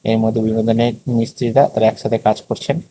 মিস্ত্রীরিরা তারা একসাথে কাজ করছেন।